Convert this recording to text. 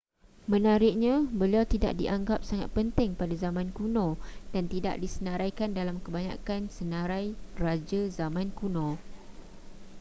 menariknya beliau tidak dianggap sangat penting pada zaman kuno dan tidak disenaraikan dalam kebanyakan senarai raja zaman kuno